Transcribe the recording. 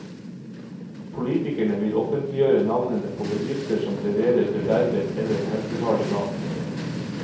Politikerne vil offentliggjøre navnene på bedrifter som leverer bedervet eller helsefarlig mat.